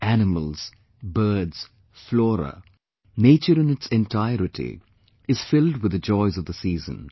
Animals, birds, flora nature in its entirety, is filled with the joys of the season